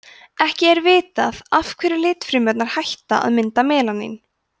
ekki er vitað af hverju litfrumurnar hætta að mynda melanín